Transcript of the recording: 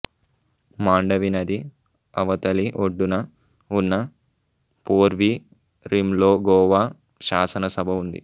మాండవి నది అవతలి ఒడ్డున ఉన్న పోర్వీరిమ్లో గోవా శాసన సభ ఉంది